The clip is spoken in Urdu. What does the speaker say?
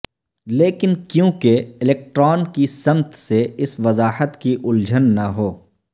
لیکن کیونکہ الیکٹران کی سمت سے اس وضاحت کی الجھن نہ ہو